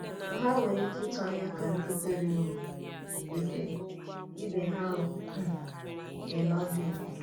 Mà hà nwere ike ịtụ̀ anya ka ndị kwèrè um ekwè ibe ha um na-èlè ha ọbìà?